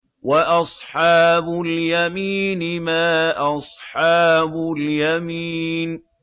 وَأَصْحَابُ الْيَمِينِ مَا أَصْحَابُ الْيَمِينِ